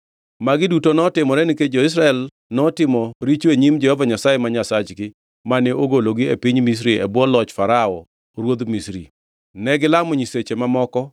Magi duto notimore nikech jo-Israel notimo richo e nyim Jehova Nyasaye ma Nyasachgi, mane ogologi e piny Misri e bwo loch Farao ruodh Misri. Negilamo nyiseche mamoko